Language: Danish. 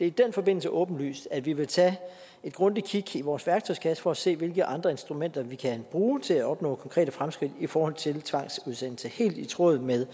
i den forbindelse åbenlyst at vi vil tage et grundigt kig i vores værktøjskasse for at se hvilke andre instrumenter vi kan bruge til at opnå konkrete fremskridt i forhold til tvangsudsættelser helt i tråd med